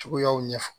Cogoyaw ɲɛ fɔ